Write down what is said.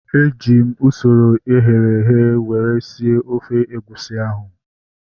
Eji m usoro eghere eghe were sie ofe egusi ahu